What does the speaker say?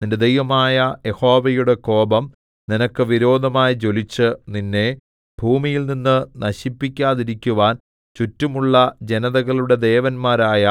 നിന്റെ ദൈവമായ യഹോവയുടെ കോപം നിനക്ക് വിരോധമായി ജ്വലിച്ച് നിന്നെ ഭൂമിയിൽനിന്ന് നശിപ്പിക്കാതിരിക്കുവാൻ ചുറ്റുമുള്ള ജനതകളുടെ ദേവന്മാരായ